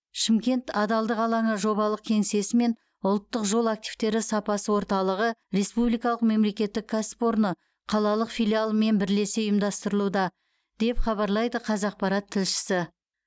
шымкент адалдық алаңы жобалық кеңсесі мен ұлттық жол активтері сапасы орталығы республикалық мемлекеттік кәсіпорны қалалық филиалымен бірлесе ұйымдастырылуда деп хабарлайды қазақпарат тілшісі